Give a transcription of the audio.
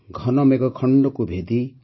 ଘନ ମେଘକୁ ଦେବାକୁ ଉଡ଼ାଇ